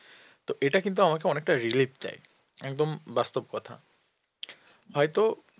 তো এটা কিন্তু আমাকে অনেকটা relief দেয় একদম বাস্তব কথা হয়তো